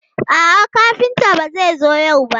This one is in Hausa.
A'a, kafinta ba zai zo yau ba.